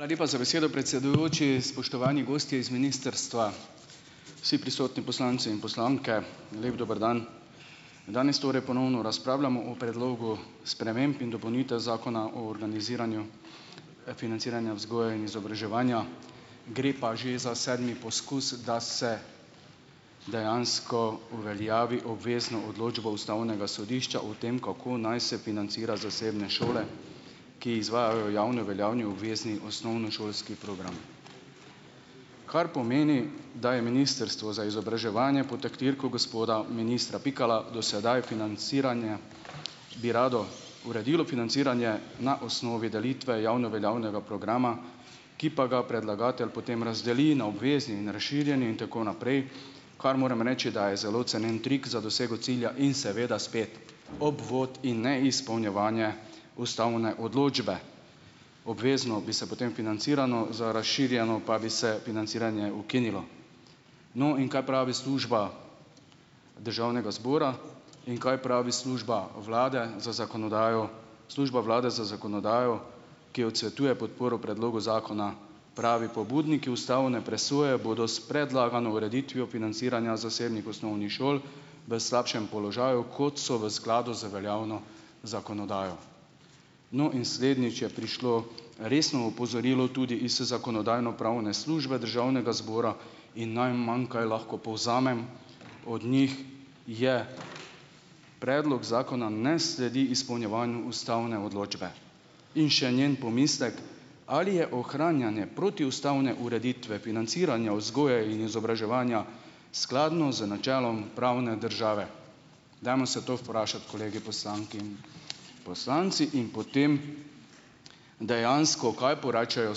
Hvala lepa za besedo, predsedujoči, spoštovani gosti iz ministrstva, vsi prisotni poslanci in poslanke, lep dober dan. Danes torej ponovno razpravljamo o predlogu sprememb in dopolnitev zakona o organiziranju financiranja vzgoje in izobraževanja, gre pa že za sedmi poskus, da se dejansko uveljavi obvezno odločbo ustavnega sodišča o tem, kako naj se financira zasebne šole, ki izvajajo javni veljavni obvezni osnovnošolski program. Kaj pomeni, da je ministrstvo za izobraževanje pod taktirko gospoda ministra Pikala do sedaj financiranje bi rado uredilo financiranje na osnovi delitve javno veljavnega programa, ki pa ga predlagatelj potem razdeli na obvezni in razširjeni in tako naprej. Kar moram reči, da je zelo cenjen trik za dosego cilja in seveda spet obvod in neizpolnjevanje ustavne odločbe, obvezno bi se potem financiralo, za razširjeno pa bi se financiranje ukinilo. No, in kaj pravi služba državnega zbora in kaj pravi služba vlade za zakonodajo služba vlade za zakonodajo, ki odsvetuje podporo predlogu zakona. Pravi: "Pobudniki ustavne presoje bodo s predlagano ureditvijo financiranja zasebnih osnovnih šol v slabšem položaju, kot so v skladu z veljavno zakonodajo." No, in slednjič je prišlo resno opozorilo tudi iz zakonodajno-pravne službe državnega zbora in najmanj, kaj lahko povzamem od njih, je: "Predlog zakona ne sledi izpolnjevanju ustavne odločbe." In še njen pomislek, ali je ohranjanje protiustavne ureditve financiranja vzgoje in izobraževanja skladno z načelom pravne države. Dajmo se to vprašati, kolegi poslanke in poslanci, in potem dejansko, kaj porečejo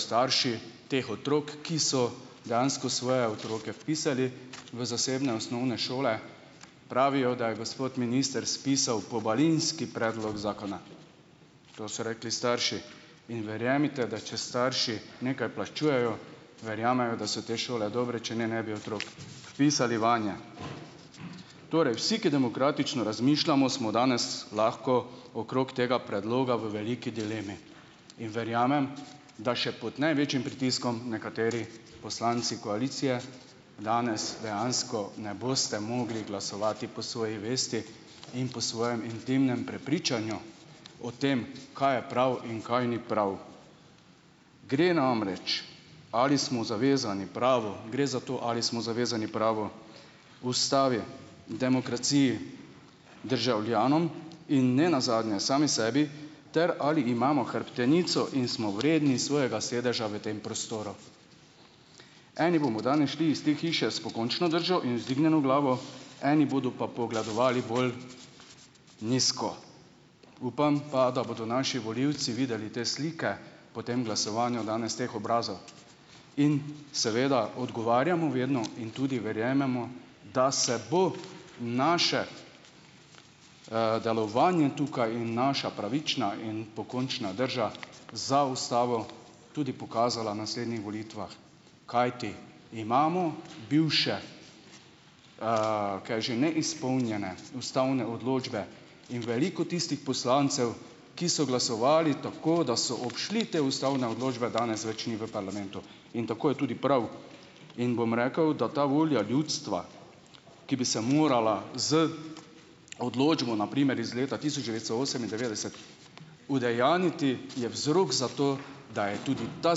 starši teh otrok, ki so dejansko svoje otroke vpisali v zasebne osnovne šole. Pravijo, da je gospod minister spisal pobalinski predlog zakona, to so rekli starši, in verjemite, da če starši nekaj plačujejo, verjamejo, da so te šole dobre, če ne ne bi otrok vpisali vanje. Torej vsi, ki demokratično razmišljamo, smo danes lahko okrog tega predloga v veliki dilemi in verjamem, da še pod največjim pritiskom nekateri poslanci koalicije, danes dejansko ne boste mogli glasovati po svoji vesti in po svojem intimnem prepričanju o tem, kaj je prav in kaj ni prav. Gre namreč, ali smo zavezani pravu, gre za to, ali smo zavezani pravu, ustavi, demokraciji, državljanom in nenazadnje sami sebi ter ali imamo hrbtenico in smo vredni svojega sedeža v tem prostoru. Eni bomo danes šli iz te hiše s pokončno držo in vzdignjeno glavo eni bodo pa pogledovali bolj nizko, upam pa, da bodo naši volivci videli te slike po tem glasovanju danes teh obrazov, in seveda odgovarjamo vedno in tudi verjamemo, da se bo naše, delovanje tukaj in naša pravična in pokončna drža za ustavo tudi pokazala na naslednjih volitvah, kajti imamo bivše, kaj že neizpolnjene ustavne odločbe in veliko tistih poslancev, ki so glasovali tako, da so obšli te ustavne odločbe, danes več ni v parlamentu, in tako je tudi prav in bom rekel, da ta volja ljudstva, ki bi se morala z odločbo na primer iz leta tisoč devetsto osemindevetdeset udejanjiti, je vzrok za to, da je tudi ta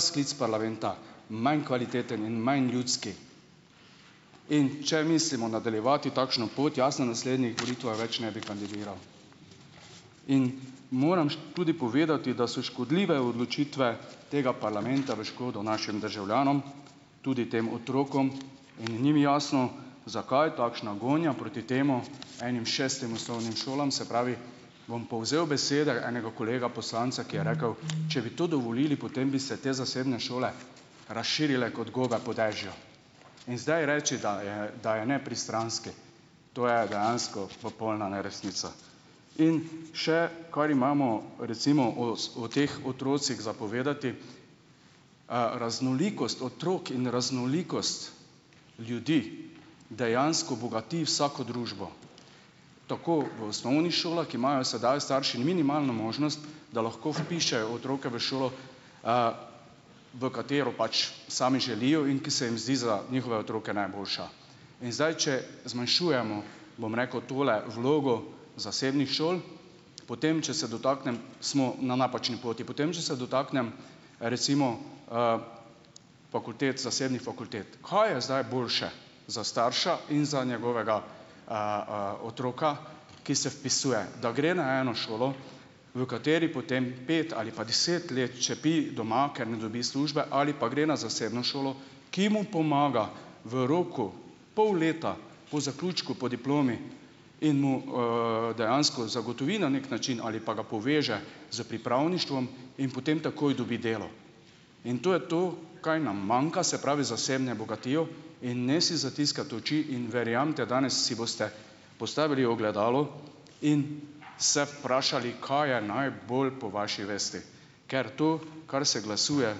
sklic parlamenta manj kvaliteten in manj ljudski, in če mislimo nadaljevati takšno pot, jasno, na naslednjih volitvah več ne bi kandidiral in moram tudi povedati, da so škodljive odločitve tega parlamenta v škodo našim državljanom, tudi tem otrokom, in ni mi jasno, zakaj takšna gonja proti temu, enim šestim osnovnim šolam. Bom povzel besede enega kolega poslanca, ki je rekel, če bi to dovolili, potem bi se te zasebne šole razširile kot gobe po dežju, in zdaj reči, da je, da je nepristranski, to je dejansko popolna neresnica, in še kar imamo recimo o teh otrocih za povedati, raznolikost otrok in raznolikost ljudi dejansko bogati vsako družbo, tako v osnovnih šolah, ki imajo sedaj starši minimalno možnost, da lahko vpišejo otroke v šolo, v katero pač sami želijo in ki se jim zdi za njihove otroke najboljša, in zdaj če zmanjšujemo, bom rekel, tole vlogo zasebnih šol, potem če se dotaknem, smo na napačni poti, potem če se dotaknem, recimo, fakultet zasebnih fakultet, kaj je zdaj boljše za starša in za njegovega, otroka, ki se vpisuje, da gre na eno šolo, v kateri potem pet ali pa deset let čepi doma, ker ne dobi službe, ali pa gre na zasebno šolo, ki mu pomaga v roku pol leta po zaključku po diplomi in mu, dejansko zagotovi na neki način ali pa ga poveže s pripravništvom in potem takoj dobi delo, in to je to, kaj nam manjka, se pravi, za osebno bogatijo in ne si zatiskati oči in verjamete danes si boste postavili ogledalo in se vprašali, kaj je najbolj po vaši vesti, ker tu, kar se glasuje,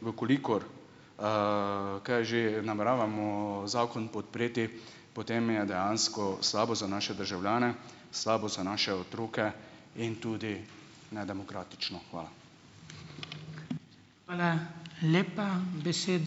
v kolikor, kaj je že nameravamo zakon podpreti, potem je dejansko slabo za naše državljane, slabo za naše otroke in tudi nedemokratično. Hvala. Hvala lepa, besedo ...